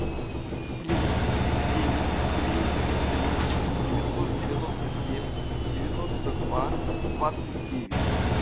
плюс девять три три три девятьсот девяносто семь девяносто два двадцать девять